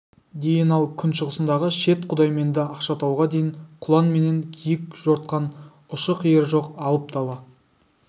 дейін ал күншығысындағы шет құдайменді ақшатауға дейін құлан менен киік жортқан ұшы-қиыры жоқ алып дала